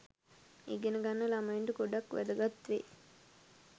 ඉගෙන ගන්න ළමයින්ට ගොඩක් වැදගත් වෙයි.